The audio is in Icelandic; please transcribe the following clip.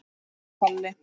spyr Palli.